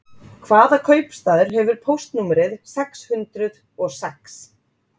Hvaða kaupstaður hefur póstnúmerið sex hundrið og sex?